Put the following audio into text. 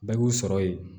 Bɛɛ y'u sɔrɔ yen